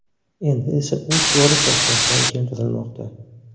Endi esa u to‘g‘ri Toshkentdan keltirilmoqda.